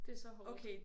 Det så hårdt